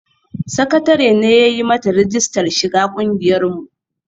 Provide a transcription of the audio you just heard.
Sakatare ne ya yi mata rijistar shiga ƙungiyar mu